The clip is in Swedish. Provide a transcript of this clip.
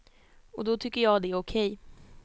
Och då tycker jag att det är okej.